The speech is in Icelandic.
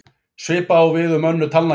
Svipað á við um önnur talnakerfi.